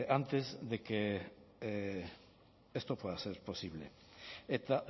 antes de que esto pueda ser posible eta